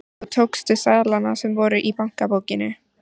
Og tókstu seðlana sem voru í bankabókinni?